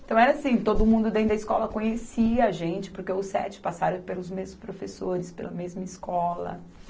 Então era assim, todo mundo dentro da escola conhecia a gente, porque os sete passaram pelos mesmos professores, pela mesma escola.